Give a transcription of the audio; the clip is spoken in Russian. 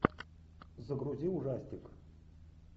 загрузи ужастик